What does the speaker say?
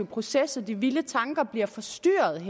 proces og de vilde tanker bliver forstyrret i